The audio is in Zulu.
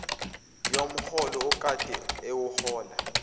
yomholo akade ewuhola